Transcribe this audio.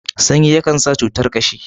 sanyi ya Kan sa cutar kashi